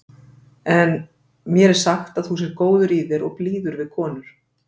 En mér er sagt að þú sért góður í þér og blíður við konur.